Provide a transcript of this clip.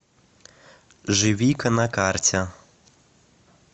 живика на карте